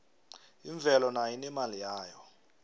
imvelo nayo inemali yayo